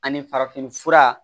Ani farafin fura